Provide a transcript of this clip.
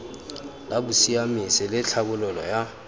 la bosiamisi le tlhabololo ya